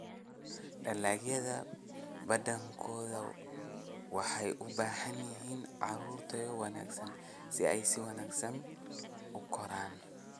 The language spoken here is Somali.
Dalagyada badankoodu waxay u baahan yihiin carro tayo wanaagsan si ay si wanaagsan u koraan.